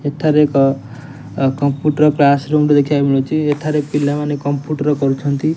ଏଠାରେ ଏକ computer class room ଟେ ଦେଖିବାକୁ ମିଳୁଚି ଏଠାରେ ପିଲାମାନେ କମ୍ପ୍ୟୁଟର କରୁଚନ୍ତି।